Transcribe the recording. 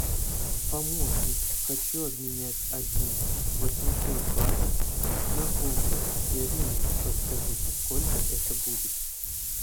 помощник хочу обменять один восемьсот батов на фунты стерлинги подскажите сколько это будет